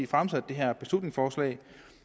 fremsat det her beslutningsforslag